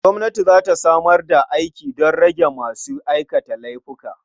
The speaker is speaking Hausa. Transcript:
Gwamnati za ta samar da aiki don rage masu aikata laifuka.